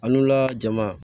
An n'ula jama